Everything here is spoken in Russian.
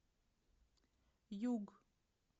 юг